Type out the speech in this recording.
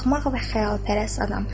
Axmaq və xəyalpərəst adam.